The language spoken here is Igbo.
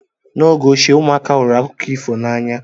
N'oge ochie, ụmụaka hụrụ akụkọ ifo n'anya.